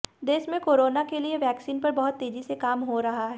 देश में कोरोना के लिए वैक्सीन पर बहुत तेजी से काम हो रहा है